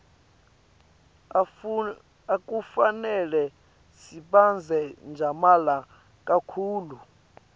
akufanele sitsabze tjamala kakhulu